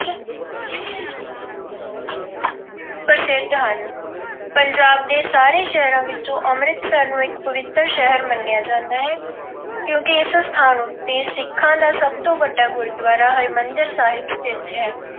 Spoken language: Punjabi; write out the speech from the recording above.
ਪ੍ਰਸਿੱਧ ਹਨ। ਪੰਜਾਬ ਦੇ ਸਾਰੇ ਸ਼ਹਿਰਾਂ ਵਿੱਚੋਂ ਅੰਮ੍ਰਿਤਸਰ ਨੂੰ ਇੱਕ ਪਵਿੱਤਰ ਸ਼ਹਿਰ ਮੰਨਿਆ ਜਾਂਦਾ ਹੈ ਕਿਉਂ ਕਿ ਇਸ ਸਥਾਨ ਉੱਤੇ ਸਿੱਖਾਂ ਦਾ ਸਭ ਤੋਂ ਵੱਡਾ ਗੁਰਦੂਆਰਾ ਹਰਿਮੰਦਰ ਸਾਹਿਬ ਸਥਿਤ ਹੈ।